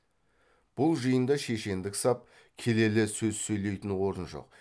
бұл жиында шешендік сап келелі сөз сөйлейтін орын жоқ